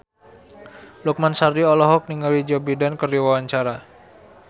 Lukman Sardi olohok ningali Joe Biden keur diwawancara